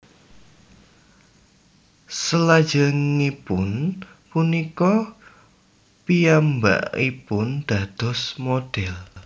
Selajengipun punika piyambakipun dados modhèl